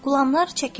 Qulamlar çəkildi.